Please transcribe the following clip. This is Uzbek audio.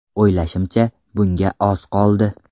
O‘ylashimcha, bunga oz qoldi.